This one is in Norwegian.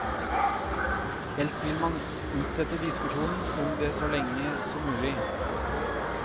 Helst vil man utsette diskusjonen om det så lenge som mulig.